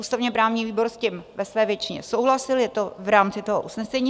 Ústavně-právní výbor s tím ve své většině souhlasil, je to v rámci toho usnesení.